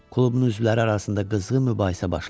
Klubun üzvləri arasında qızğın mübahisə başladı.